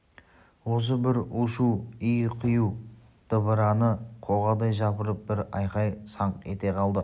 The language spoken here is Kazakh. осы бір у-шу ию-қию дабыраны қоғадай жапырып бір айқай саңқ ете қалды